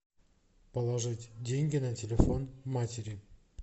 положить деньги на телефон матери